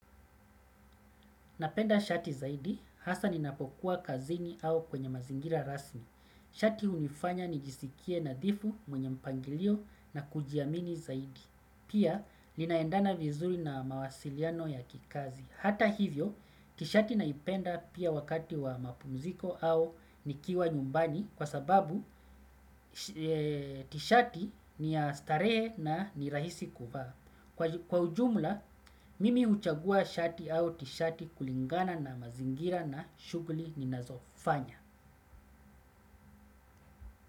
Napenda shati zaidi hasa ninapokuwa kazini au kwenye mazingira rasmi. Shati hunifanya nijisikie nadhifu mwenye mpangilio na kujiamini zaidi. Pia linaendana vizuri na mawasiliano ya kikazi. Hata hivyo, tishati naipenda pia wakati wa mapumziko au nikiwa nyumbani kwa sababu tishati ni ya starehe na ni rahisi kuvaa. Kwa ujumla, mimi huchagua shati au tishati kulingana na mazingira na shughuli ninazofanya.